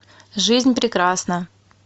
жизнь прекрасна